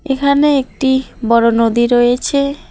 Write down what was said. এখানে একটি বড় নদী রয়েছে।